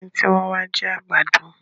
ẹní tí wón wa jì àgbàdo.